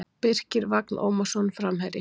Birkir Vagn Ómarsson Framherji